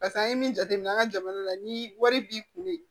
Pase an ye min jateminɛ an ka jamana la ni wari b'i kun de